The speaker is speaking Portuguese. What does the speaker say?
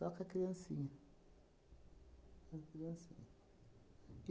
Só com a criancinha. Com a criancinha.